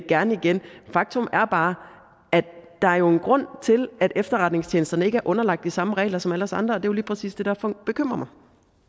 gerne igen faktum er bare at der jo er en grund til at efterretningstjenesterne ikke er underlagt de samme regler som alle os andre er jo lige præcis det der bekymrer